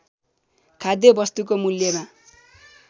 खाद्य वस्तुको मूल्यमा